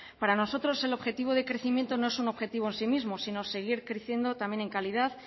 para nosotros el objetivo de crecimiento no es un objetivo en sí mismo sino seguir creciendo también en calidad